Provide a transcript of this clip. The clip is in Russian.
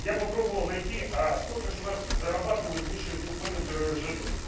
я попробовал найти а сколько же у нас зарабатывают высшие топ-менеджеры ржд